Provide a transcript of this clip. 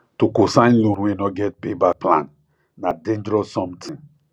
to cosign loan wey no get payback plan na dangerous something